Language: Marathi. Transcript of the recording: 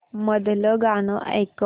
मधलं गाणं ऐकव